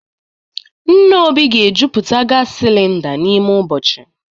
Nna Obi ga-ejuputa gas cylinder n'ime ụbọchị